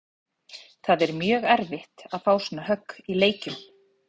Það er mjög erfitt að fá svona högg í leikjum.